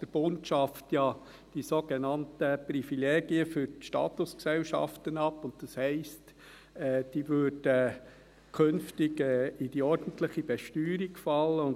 Der Bund schafft ja die sogenannten Privilegien für die Statusgesellschaften ab, und das heisst, dass sie künftig in die ordentliche Besteuerung fallen würden.